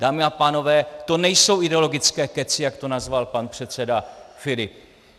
Dámy a pánové, to nejsou ideologické kecy, jak to nazval pan předseda Filip.